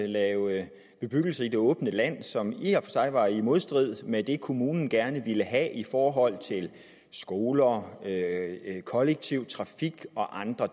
lave bebyggelse i det åbne land som i og for sig var i modstrid med det kommunen gerne ville have i forhold til skoler kollektiv trafik og andre